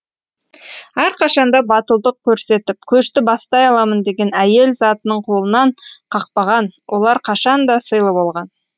әрқашанда батылдық көрсетіп көшті бастай аламын деген әйел затының қолынан қақпаған олар қашанда сыйлы болған